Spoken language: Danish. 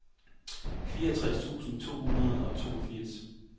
fireogtres tusind to hundrede og toogfirs